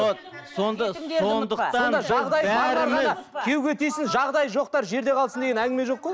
күйеуге тисін жағдайы жоқтар жерде қалсын деген әңгіме жоқ қой